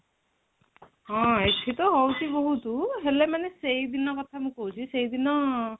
ହଁ ଏଠି ତା ହଉଚି ବହୁତ ହେଲେ ମାନେ ସେଇଦିନ କଥା ମୁଁ କହୁଛି ସେଇଦିନ